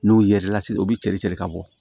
N'o yerɛlase u bi cɛ de cɛrin ka bɔ